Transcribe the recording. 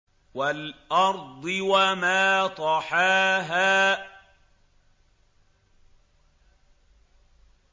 وَالْأَرْضِ وَمَا طَحَاهَا